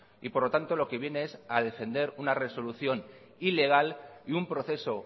y por lo tanto lo que viene es a defender una resolución ilegal y un proceso